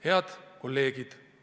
Head kolleegid!